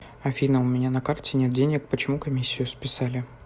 афина у меня на карте нет денег почему комиссию списали